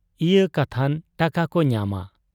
ᱤᱭᱟᱹ ᱠᱟᱛᱷᱟᱱ ᱴᱟᱠᱟᱠᱚ ᱧᱟᱢᱟ ᱾